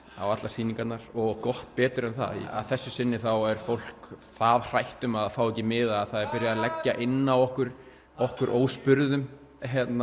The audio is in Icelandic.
á allar sýningarnar og gott betur en það að þessu sinni var fólk það hrætt að fá ekki miða að það er byrjað að leggja inn á okkur okkur óspurðum